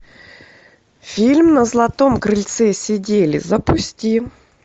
фильм на златом крыльце сидели запусти